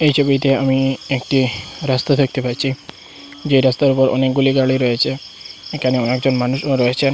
এই ছবিতে আমি একটি রাস্তা দেখতে পাচ্ছি যে রাস্তার ওপর অনেকগুলি গাড়ি রয়েছে এখানে অনেকজন মানুষও রয়েছেন।